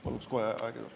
Palun kohe aega juurde.